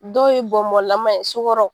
Dɔw ye bɔnbɔnlaman ye sukɔrɔ